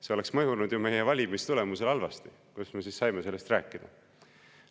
"See oleks mõjunud ju meie valimistulemusele halvasti, kuidas me saime sellest rääkida!